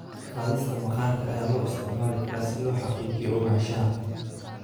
Ka-qaadista maqaarka ayaa loo isticmaali karaa si loo xaqiijiyo ogaanshaha.